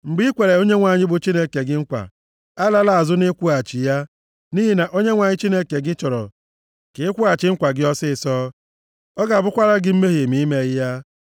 Mgbe i kwere Onyenwe anyị bụ Chineke gị nkwa, alala azụ nʼịkwụghachi ya, nʼihi na Onyenwe anyị Chineke gị chọrọ ka ị kwụghachi nkwa gị ọsịịsọ. Ọ ga-abụkwara gị mmehie ma i meghị ya.